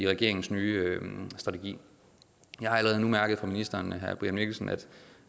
regeringens nye strategi jeg har allerede nu mærket på ministeren